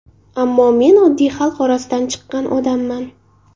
Ammo men oddiy, xalq orasidan chiqqan odamman.